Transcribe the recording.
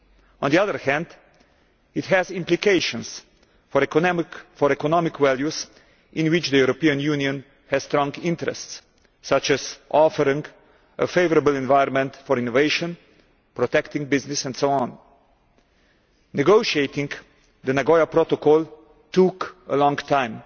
On the other hand, it has implications for economic values in which the European Union has strong interests, such as offering a favourable environment for innovation, protecting business, and so on. Negotiating the Nagoya Protocol took a long time